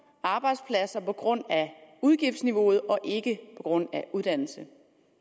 arbejdspladser på grund af udgiftsniveauet og ikke på grund af uddannelse